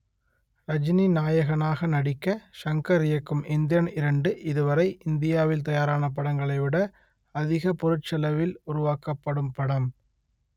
ரஜினி நாயகனாக நடிக்க ஷங்கர் இயக்கும் எந்திரன் இரண்டு இதுவரை இந்தியாவில் தயாரான படங்களைவிட அதிக பொருட்செலவில் உருவாக்கப்படும் படம்